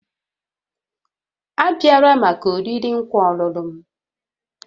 Abịala maka oriri nkwa ọlụlụ m